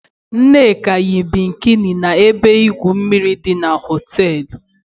Nneka yi bikini na ebe igwu mmiri di na họteelu.